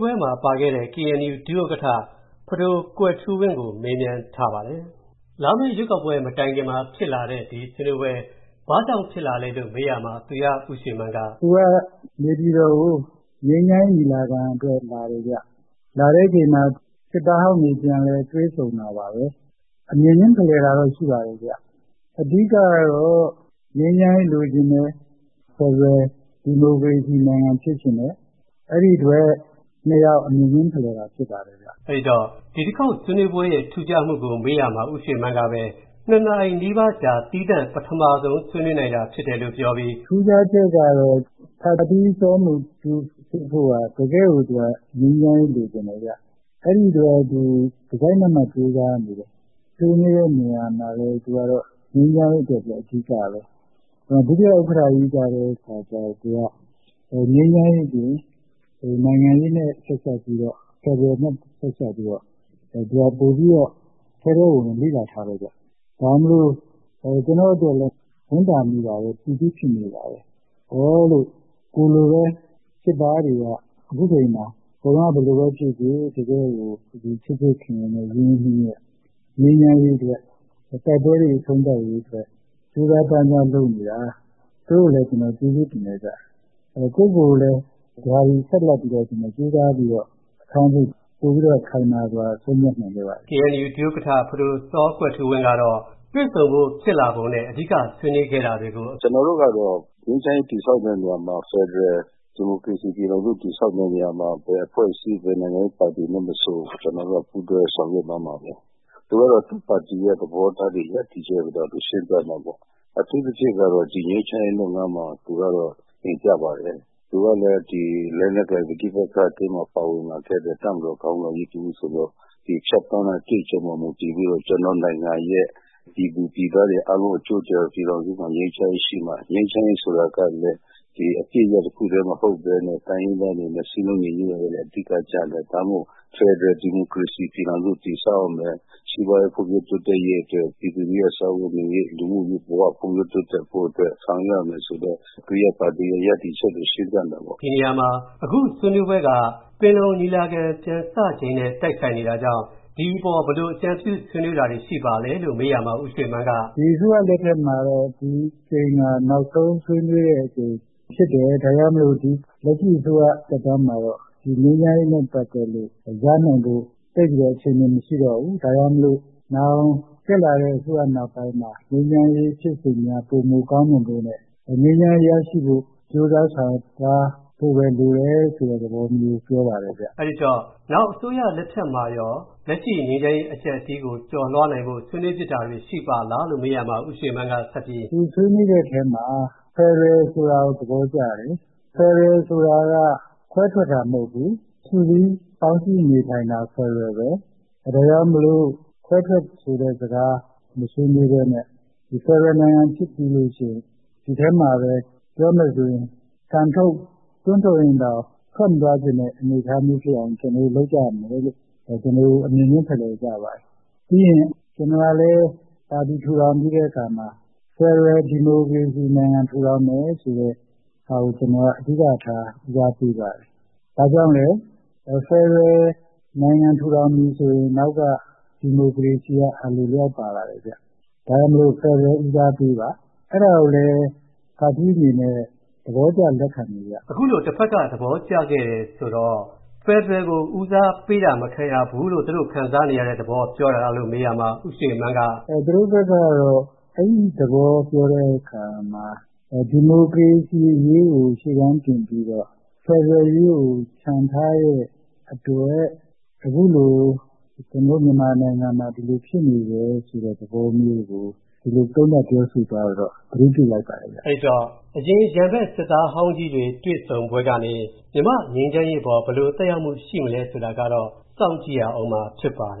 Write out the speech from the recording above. ကိုဝင်းမင်း ပြောပြမှာပါ။ လာမယ့်ရွေးကောက်ပွဲမတိုင်ခင် ဒီဆွေးနွေးပွဲ ဘာကြောင့်ဖြစ်လာလဲကို မေးရာမှာ သူရဦးရွေမန်းက “သူကနေပြည်တော်ကို ငြိမ်းချမ်းရေးညီလာခံအတွက်လာတယ်ဗျ။ လာတဲ့အချိန်မှာ စစ်သားဟောင်းတွေ ပြန်လည်တွေ့ဆုံတာပါပဲ။ အမြင်ချင်းဖလှယ်တာတော့ ရှိပါတယ် အဓိကတော့ ငြိမ်းချမ်းရေးလိုချင်တယ်၊ ဖယ်ဒရယ်ဒီမိုကရေစီနိုင်ငံ ဖြစ်ချင်တယ် အဲဒီအတွက် ၂ ယောက် အမြင်ချင်းဖလှယ်တာ ဖြစ်ပါတယ်။” အဲဒီတော့ ဒီတခေါက်ဆွေးနွေးပွဲ ရဲ့ ထူးခြားမှုကို မေးရာမှာ သူရဦးရွေမန်းက ၂ နာရီနီးပါးကြာ သီးသန့် ပထမဆုံး ဆွေးနွေးနိုင်တာဖြစ်တယ်လို့ ပြောပြီး “ထူးခြားချက်ကတော့ ဖထီး စောမူတူးဆေးဖိုးက တကယ် ငြိမ်းချမ်းရေးလိုချင်တယ်ဗျ ။ အဲဒီတော့ သူက တစိုက်မတ်မတ်ကြိုးစားနေတယ် ။ ဆွေးနွေးတဲ့နေရာမှာလည်း သူက ငြိမ်းချမ်းရေးအတွက် အဓိကပဲ။ ဒုဥက္ကဌကြီးကတော့ ငြိမ်းချမ်းရေးသည် နိုင်ငံရေး နဲ့ ဆက်စပ်ပြီးတော့ ဖယ်ဒရယ်နဲ့ ဆက်စပ်ပြီးတော့ သူက ပိုပြီးတော့ ထဲထဲဝင်ဝင် လေ့လာထားတယ်ဗျ။ ဒါကြောင့်မို့လို့ ကျနေ့ာ်အတွက်လည်း ဝမ်းသာမိပါတယ်၊ ပီတိဖြစ်မိတယ်။ ကိုယ်လိုပဲ စစ်သားတွေက အခုအချိန်မှာ ဟိုတုန်းက ဘယ်လိုပဲ ဖြစ်ဖြစ် အခု ချစ်ချစ်ခင်ခင် ရင်းရင်းနှီးနှီးနဲ့ ငြိမ်းချမ်းရေးအတွက် ၊ တိုက်ပွဲတွေ အဆုံးသတ်ရေးအတွက် ကြိုးစားပမ်းစားလုပ်နေတာ သူတို့ကိုလည်းကျနော် ကျေးဇူးတင်တယ်။ ကိုယ့်ကိုကိုယ်လည်း အများကြီးဆက်ပြီးတော ကြိုးစားပြီးတော့လုပ်ဖို့ ပိုပြီးတော့ ခိုင်မာစွာ ဆုံးဖြတ်နိုင်ခဲ့ပါတယ်။ KNU ဒုဥက္ကဌ ဖဒို စောကွယ်ထူးဝင်းကတော့ တွေ့ဆုံဖို့ ဖြစ်လာပုံနဲ့ အဓိကဆွေးနွေးခဲ့တာတွေကို “ကျနော်တို့ကတော့ ငြိမ်းချမ်းရေးတည်ဆောက်တဲ့နေရာမှာ ဖယ်ဒရယ် ဒီမိုကရေစီ ပြည်ထောင်စ တည်ဆောက်တဲ့နေရာမှာ ဘယ်အဖွဲ့အစည်း ဘယ်နိုင်ငံရေးပါတီမဆို ကျနော်တို့က ပူးတွဲဆောင်ရွက်သွားမှာပါပဲ။ သူကတော့ သူ့ပါတီ ရပ်တယ်ချက်၊ သဘောထားတွေကိုတော့ သူရှင်းပြတာပေါ့ အထူးသဖြင့်ကတော့ ဒီငြိမ်းချမ်းရေးလုပ်ငန်းမှာ သူကတော့တင်ပြပါတယ် သူကလည်း လက်နက်ကိုင် ပဋိပက္ခထဲမှာ ပါဝင်လာခဲ့တဲ့ တပ်မတော်ခေါင်းဆောင်ကြီးတဦးဆိုတော့ ဖြတ်သန်းတဲ့ အတွေ့အကြုံပေါ်မှာ မူတည်ပြီးတော့ ကျနော့်နိုင်ငံရဲ့ ပြည်သူပြည်သားတွေ အားလုံးအကျိုးအတွက် ပြည်ထောင်စုမှာ ငြိမ်းချမ်းရေးရှိမှ၊ ငြိမ်းချမ်းရေးဆိုတာကလည်း အပစ်ရပ်တခုတည်းမဟုတ်ပဲနဲ့ တိုင်းရင်းသားတွေနဲ့ စည်းလုံးရေး ကလည်း အဓိက ကျတယ်။ ဒါကြောင့်မို့ ဖယ်ဒရယ် ဒီမိုကရေစီ ပြည်ထောင်စုတည်ဆောက်ရမယ်။ စီးပွားရေး ဖွံ့ဖြိုးတိုးတက်ရေးအတွက် ပြည်သူလူထုရဲ့ စားဝတ်နေရေး၊ လူမှုရေးဘ၀ ဖွံ့ဖြိုးတိုးတက်ဖို့အတွက် ဆောက်ရွက်ရမယ်ဆိုတဲ့ သူ့ပါတီ ရပ်တယ်ချက်တွေ ရှင်းပြတာပေါ့။” ဒီနေရာမှာ အခုဆွေးနွေးပွဲက ပင်လုံညီလာခံ ပြန်စချိန်နဲ့ တိုက်ဆိုင်နေတာကြောင့် ဒီအပေါ် ဘယ်လို အကြံပြုဆွေးနွေးတာတွေ ရှိပါသလဲလို့ မေးရာမှာ ဦးရွေမန်းက “အခုအစိုးရ လက်ထက်မှာတော့ ဒီတကြိမ်ဟာ နောက်ဆုံးဆွေးနွေးတဲ့အကြိမ်ဖြစ်တယ်။ ဒါကြောင့်မို့လက်ရှိအစိုးရ သက်တမ်းမှာတော့ ငြိမ်းချမ်းရေးနဲ့ ပတ်သက်လို့ ရနိုင်ဖို့ သိပ်ပြီးတော့ အခြေအနေ မရှိတော့ဘူး ။ ဒါကြောင့် နောင်တက်လာတဲ့ အစိုးရနောက်ပိုင်းမှာ ငြိမ်းချမ်းရေး ဖြစ်စဉ်များ ပိုမိုကောင်းမွန်ဖို့နဲ့ ငြိမ်းချမ်းရေးရဖို့ ကြိုးစားဆောင်ရွက်သွားဖို့ လိုတယ်ဆိုတဲ့ သဘောမျိုး ပြောပါတယ်ခင်ဗျ။” အဲဒီတော့ နောင်အစိုးရလက်ထက်မှာရော လက်ရှိငြိမ်းချမ်းရေးအကျပ်အတည်းကို ကျော်လွှားနိုင်ဖို့ ဆွေးနွေးဖြစ်တာတွေ ရှိပါသလားလို့ မေးရာမှာ ဦးရွေမန်းကဆက်ပြီး “သူဆွေးနွေးတဲ့အထဲမှာ ဖယ်ဒရယ်ဆိုတာကို သဘောကျတယ်။ ဖယ်ဒရယ်ဆိုတာက ခွဲထွက်တာ မဟုတ်ဘူး၊ စုစည်း ပေါင်းစည်းနေထိုင်တာ ဖယ်ဒရယ်ပဲ။ ဒါကြောင့် ခွဲထွက်ဆိုတဲ့စကား မဆွေးနွေးပဲနဲ့ ဖယ်ဒရယ်နိုင်ငံကြီးဖြစ်ပြီးရင် ဒီထဲမှာပဲ ပြောမယ်ဆိုရင် ကန်ထုတ် တွန်းထုတ်ရင်တောင် ထွက်မသွားချင်တဲ့ အနေအထားမျိုးဖြစ်အောင် ကျနော်တို့ လုပ်ကြရမယ်လို့ ဒီလို အမြင်ချင်းဖလှယ်ကြပါတယ်။ ပြီးရင် ကျနော်ကလည်း ပါတီ ထူထောင်ပြီးတဲ့အခါမှာ ဖယ်ဒရယ် ဒီမိုကရေစီနိုင်ငံ ထူထောင်မယ်ဆိုတာကို အဓိကထား ဦးစားပေးပါတယ်။ ဘာကြောင့်လဲ ဖယ်ဒရယ် ဒီမိုကရေစီနိုင်ငံ ထူထောင်ပြီဆိုရင် အနောက်က ဒီမိုကရေစီက အလိုအလျောက်ပါလာတယ်။ ဒါကြောင့်မို့ ဖယ်ဒရယ်ကို ဦးစားပေးပါ။ အဲဒါကိုလည်း ဖထီးအနေနဲ့ သဘောကျလက်ခံတယ်ခင်ဗျ။” အခုလို တဘက်က သဘောကျခဲ့တယ်ဆိုတော့ ဖယ်ဒရယ်ကို ဦးစားပေးတာ မခံရဘူးလို့ သူတို့ ခံစားနေရတဲ့ သဘောပြောတာလားလို့ မေးရာမှာ ဦးရွေမန်းက “သူတို့ဘက်ကတော့ အဲဒီသဘောပြောတဲ့အခါမှာ ဒီမိုကရေစီအရေးကို ရှေ့တန်းတင်ပြီးတော့ ဖယ်ဒရယ်ရေးကို ချန်ထားတဲ့အတွက် အခုလို ကျနော်တို့ မြန်မာနိုင်ငံမှာ ဒီလိုဖြစ်နေတယ်ဆိုတဲ့ သဘောမျိုးကို သုံးသပ်ပြောဆို သွားတာကိုတော့ ကျနော် သတိပြုမိလိုက်ပါတယ်။” အဲဒီတော့ အရင်ရန်ဘက် စစ်သားဟောင်းကြီးတွေ တွေ့ဆုံပွဲကနေ မြန်မာ့ငြိမ်းချမ်းရေးအပေါ် ဘယ်လို သက်ရောက်မှုရှိမလဲဆိုတာကတော့ စောင့်ကြည့်ရဦးမှာ ဖြစ်ပါတယ်